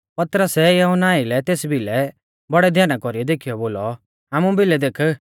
पतरसै यहुन्ना आइलै तेस भिलै बौड़ै ध्याना कौरीऐ देखीयौ बोलौ हामु भिलै देख